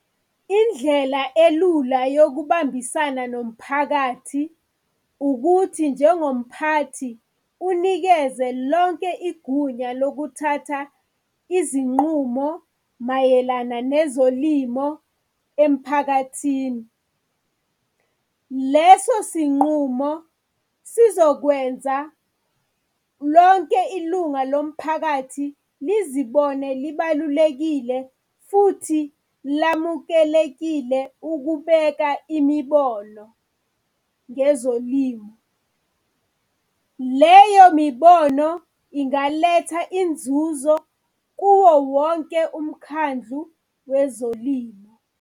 Indlela elula yokubambisana nomphakathi, ukuthi njengomphathi unikeze lonke igunya lokuthatha izinqumo mayelana nezolimo emphakathini. Leso sinqumo sizokwenza lonke ilunga lomphakathi lizibone libalulekile futhi lamukelekile ukubeka imibono ngezolimo. Leyo mibono ingaletha inzuzo kuwowonke umkhandlu wezolimo.